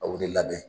A wilili la